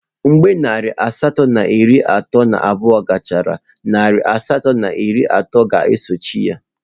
Mgbe narị asatọ na iri atọ na abụọ gachara, narị asatọ na iri atọ na atọ e sochie.